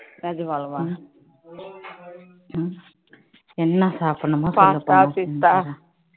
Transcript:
நிஜமாலுமா என்ன சாப்பிடனும் பாதம் பிஸ்தா